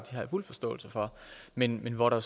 har jeg fuld forståelse for men hvor der